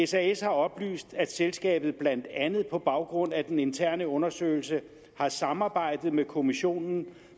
sas har oplyst at selskabet blandt andet på baggrund af den interne undersøgelse har samarbejdet med kommissionen